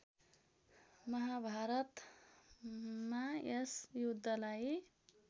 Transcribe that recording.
महाभारतमा यस युद्धलाई